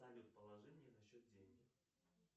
салют положи мне на счет деньги